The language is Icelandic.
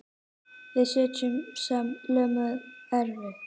Við sitjum sem lömuð eftir.